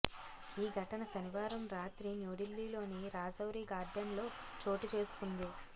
ఈ ఘటన శనివారం రాత్రి న్యూఢిల్లీలోని రాజౌరి గార్డెన్లో చోటు చేసుకుంది